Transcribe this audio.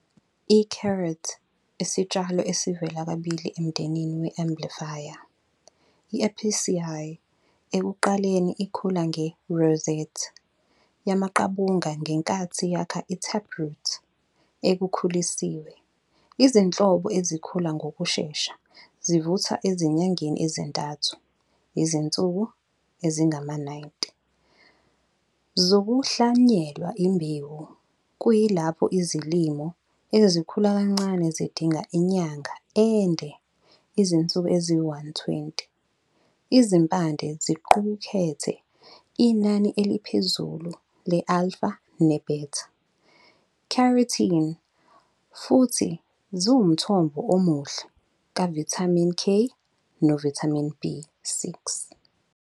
I-carrot isitshalo esivela kabili emndenini we-umbellifer, i-Apiaceae. Ekuqaleni, ikhula nge-rosette yamaqabunga ngenkathi yakha i-taproot ekhulisiwe. Izinhlobo ezikhula ngokushesha zivuthwa ezinyangeni ezintathu, izinsuku ezingama-90, zokuhlwanyela imbewu, kuyilapho izilimo ezikhula kancane zidinga inyanga ende, izinsuku eziyi-120. Izimpande ziqukethe inani eliphezulu le- alpha- ne- beta-carotene, futhi ziwumthombo omuhle kavithamini K novithamini B6.